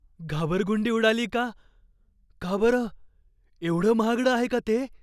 घाबरगुंडी उडाली का? का बरं? एवढं महागडं आहे का ते?